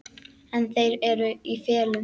En þeir eru í felum!